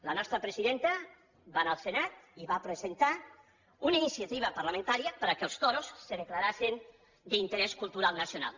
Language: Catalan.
la nostra presidenta va anar al senat i va presentar una iniciativa parlamentària perquè els toros se declaressin d’interès cultural nacional